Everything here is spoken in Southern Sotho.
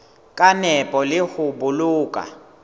ka nepo le ho boloka